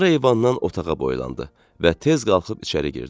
Sonra eyvandan otağa boylandı və tez qalxıb içəri girdi.